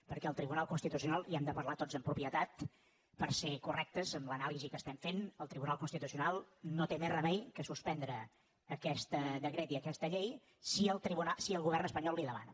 perquè el tribunal constitucional i hem de parlar tots amb propietat per ser correctes en l’anàlisi que estem fent no té més remei que suspendre aquest decret i aquesta llei si el govern espanyol li ho demana